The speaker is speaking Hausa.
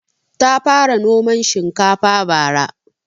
Ta fara noman shinkafa bara